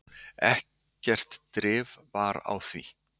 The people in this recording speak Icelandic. ekkert drif var á því